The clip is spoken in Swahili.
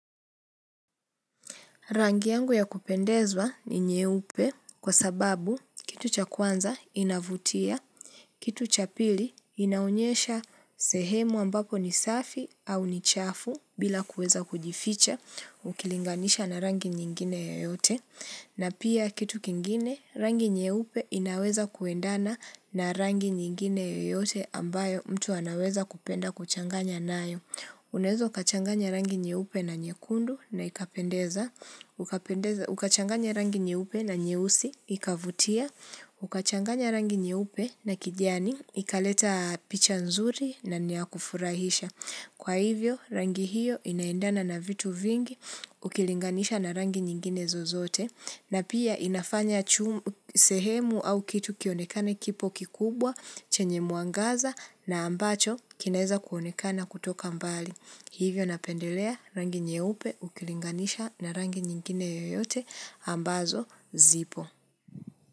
Rangi yangu ya kupendezwa ni nye upe kwa sababu kitu cha kwanza inavutia, kitu cha pili inaunyesha sehemu ambapo ni safi au ni chafu bila kuweza kujificha ukilinganisha na rangi nyingine yoyote. Na pia kitu kingine rangi nye upe inaweza kuendana na rangi nyingine yoyote ambayo mtu anaweza kupenda kuchanganya nayo. Unezo kachanganya rangi nye upe na nye kundu na ikapendeza, ukachanganya rangi nye upe na nye usi, ikavutia, ukachanganya rangi nye upe na kidiani, ikaleta picha nzuri na niakufurahisha. Kwa hivyo, rangi hiyo inaendana na vitu vingi ukilinganisha na rangi nyingine zozote na pia inafanya sehemu au kitu kionekane kipo kikubwa chenye muangaza na ambacho kineza kuonekana hadi wa leo natamani kukirudiaongelea kuhusu msichana ambaye alipata changamoto kadha wa kadha katika hii dunia na badae kapata afuweni. Mbali. Hivyo napendelea rangi nye upe ukilinganisha na rangi nyingine yoyote ambazo zipo.